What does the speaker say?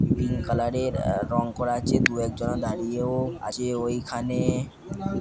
Pink colour -এর আ-রঙ করা আছে দু একজনা দাঁড়িয়েও আছে ওইখানে।